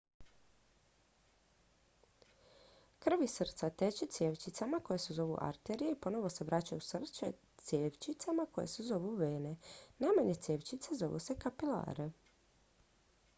krv iz srca teče cjevčicama koje se zovu arterije i ponovno se vraća u srce cjevčicama koje se zovu vene najmanje cjevčice zovu se kapilare